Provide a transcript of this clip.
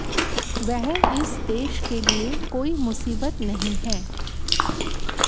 वह इस देश के लिए कोई मुसीबत नहीं है